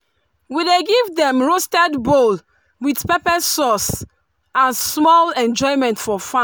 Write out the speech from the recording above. we dey give dem roasted bole with pepper sauce as small enjoyment for farm.